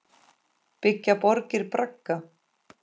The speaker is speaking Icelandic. Byggja borgir bragga?